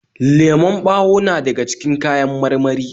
Lemon ɓawo na daga cikin kawan marmari